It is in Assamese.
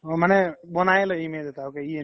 মানে বনাইয়ে লই image এটা ok ই এনেকুৱা